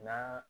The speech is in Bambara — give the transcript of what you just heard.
N'a